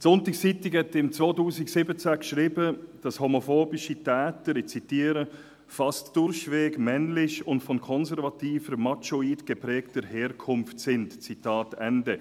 Die «Sonntagszeitung» schrieb 2017, dass homophobe Täter, ich zitiere: «fast durchwegs männlich und von konservativer, machoid geprägter Herkunft [sind]», Zitat Ende.